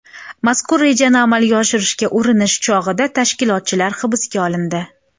Mazkur rejani amalga oshirishga urinish chog‘ida tashkilotchilar hibsga olindi.